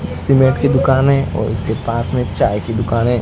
एक सीमेंट की दुकान है और इसके पास में चाय की दुकान है।